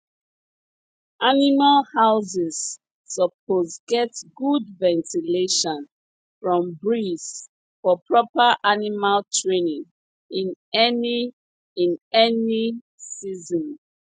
animal houses suppose get good ventilation from breeze for proper animal training in any in any season